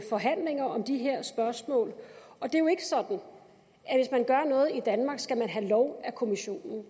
forhandlinger om de her spørgsmål det er jo ikke sådan at noget i danmark skal man have lov af kommissionen